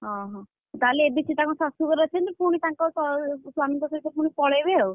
ଓହୋ, ତାହାଲେ ଏବେ ସେ ତାଙ୍କ ଶାଶୁ ଘରେ ଅଛନ୍ତି, ପୁଣି ତାଙ୍କ ସ୍ୱା‍‍~ ସ୍ୱାମୀଙ୍କ ସହିତ ପୁଣି ପଳେଇବେ ଆଉ,